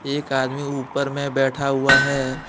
एक आदमी ऊपर में बैठा हुआ है।